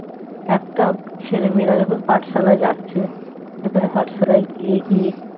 একটা ছেলে মেয়েরা যখন পাঠশালায় যাচ্ছে সেখানে পাঠশালায় গিয়ে কি